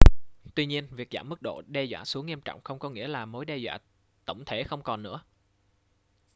tuy nhiên việc giảm mức độ đe dọa xuống nghiêm trọng không có nghĩa là mối đe dọa tổng thể không còn nữa